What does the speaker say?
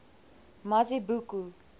mazibuko